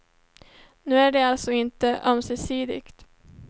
Nu är det alltså inte ömsesidigt.